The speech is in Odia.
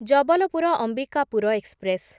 ଜବଲପୁର ଅମ୍ବିକାପୁର ଏକ୍ସପ୍ରେସ୍